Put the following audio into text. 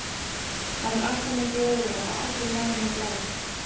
Hann er alltaf með glóðarauga og allur marinn og blár.